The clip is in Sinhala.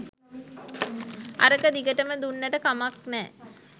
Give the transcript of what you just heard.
අරක දිගටම දුන්නට කමක් නෑ